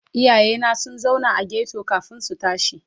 Iyayena sun zauna a ghetto kafin su tashi.